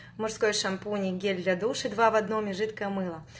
мужской шампунь и гель для душа два в одном и жидкое мыло